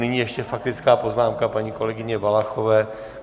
Nyní ještě faktická poznámka paní kolegyně Valachové.